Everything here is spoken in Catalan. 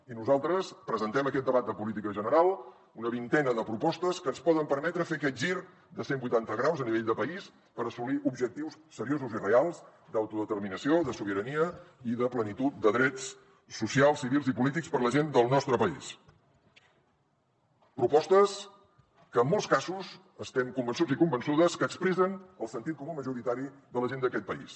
i nosaltres presentem en aquest debat de política general una vintena de propostes que ens poden permetre fer aquest gir de cent vuitanta graus a nivell de país per assolir objectius seriosos i reals d’autodeterminació de sobirania i de plenitud de drets socials civils i polítics per a la gent del nostre país propostes que en molts casos estem convençuts i convençudes que expressen el sentit comú majoritari de la gent d’aquest país